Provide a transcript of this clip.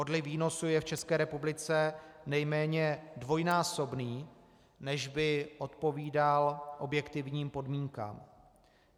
Odliv výnosů je v České republice nejméně dvojnásobný, než by odpovídal objektivním podmínkám.